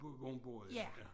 Bo hvor hun boede ja